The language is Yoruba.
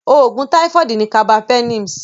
Òògùn táífọ̀dù ni Carbapenems.